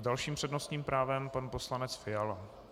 S dalším přednostním právem pan poslanec Fiala.